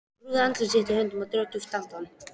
Hann grúfði andlit sitt í höndunum og dró djúpt andann.